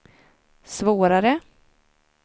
svårare